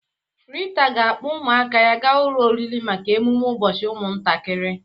Rita ga-akpọ ụmụaka ya ga ụlọ oriri maka emume ụbọchị ụmụntakịrị.